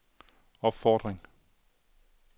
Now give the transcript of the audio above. opfordring